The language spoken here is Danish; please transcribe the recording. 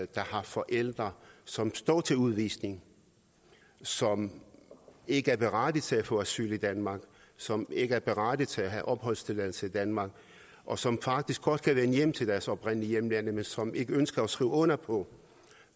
der har forældre som står til udvisning som ikke er berettiget til at få asyl i danmark som ikke er berettiget til opholdstilladelse i danmark og som faktisk godt kan vende hjem til deres oprindelige hjemlande men som ikke ønsker at skrive under på